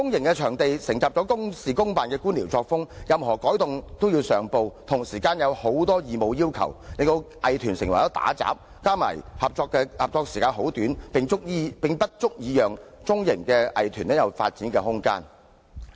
公營場地承襲公事公辦的官僚作風，任何改動均須上報，同時有很多義務要求，令藝團成為雜務員，加上合作時間很短，根本不足以讓中型藝團有發展的空間。